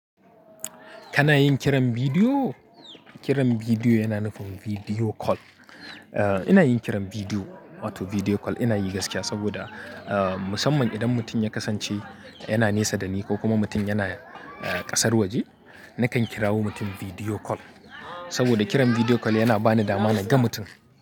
Kana yin kiran bidiyo? Kiran bidiyo yana nufin video call. Eh ina yin kiran bidiyo, wato video call ina yi gaskiya saboda, ah musamman idan mutum ya kasance yana nesa da ni ko kuma mutum yana kasar waje, nakan kirawo mutum video call. Saboda kiran video call yana bani dama na ga mutum.